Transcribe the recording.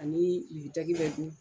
Ani bɛ ten